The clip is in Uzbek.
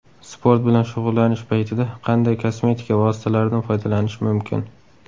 Sport bilan shug‘ullanish paytida qanday kosmetika vositalaridan foydalanish mumkin?.